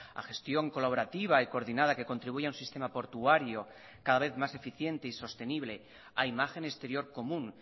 a gestión colaborativa y coordinada que contribuya a un sistema portuario cada vez más eficiente y sostenible a imagen exterior común